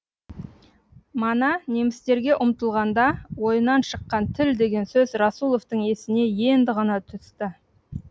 мана немістерге ұмтылғанда ойынан шыққан тіл деген сөз расуловтың есіне енді ғана түсті